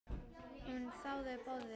Hún þáði boðið.